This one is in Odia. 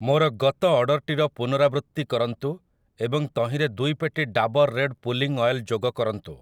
ମୋର ଗତ ଅର୍ଡ଼ର୍‌‌ଟିର ପୁନରାବୃତ୍ତି କରନ୍ତୁ ଏବଂ ତହିଁରେ ଦୁଇ ପେଟି ଡାବର୍ ରେଡ଼୍ ପୁଲିଂ ଅଏଲ୍ ଯୋଗ କରନ୍ତୁ ।